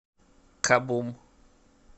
кабум